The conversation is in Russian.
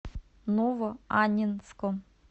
новоаннинском